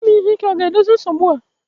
Ime ihe ike ga-edozi nsogbu a?